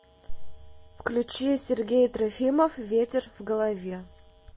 включи сергей трофимов ветер в голове